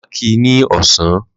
Ma ki ní ọsán